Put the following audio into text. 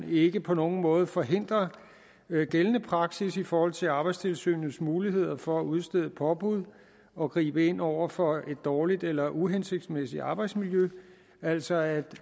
ikke på nogen måde forhindrer gældende praksis i forhold til arbejdstilsynets muligheder for at udstede påbud og gribe ind over for et dårligt eller uhensigtsmæssigt arbejdsmiljø altså at